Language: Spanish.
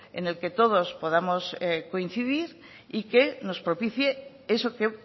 en el que todos podamos coincidir y que nos propicie eso que